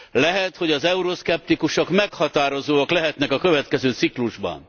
Lehet, hogy az euroszkeptikusok meghatározóak lehetnek a következő ciklusban.